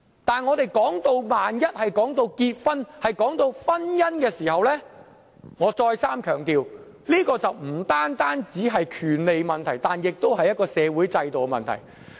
不過，一旦談到婚姻，我再三強調，這便不單是權利問題，亦是一個社會制度的問題。